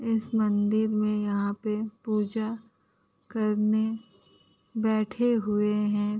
इस मंदिर में यहाँ पे पूजा करने बैठे हुए है।